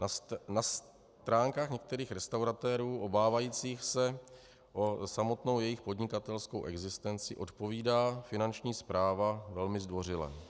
Na stránkách některých restauratérů obávajících se o samotnou jejich podnikatelskou existenci odpovídá Finanční správa velmi zdvořile.